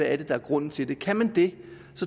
er der er grunden til det kan man det